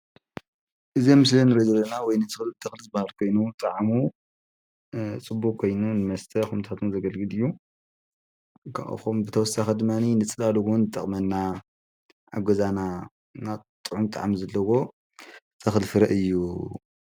እዚ ኣብ ምስሊ ንሪኦ ዘለና ወይኒ ተኽሊ ዝበሃል ኮይኑ ጣዕሙ ጽቡቕ ኮይኑ ንመስተ ከምኡታት እዉን ዘገልግል እዩ። ብተወሳኺ ድማ ንጽላል እዉን ይጠቕመና። ኣብ ገዛና ጥዑም ጣዕሚ ዘለዎ ተኽሊ ፍረ እዩ።